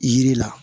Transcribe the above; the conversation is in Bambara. Yiri la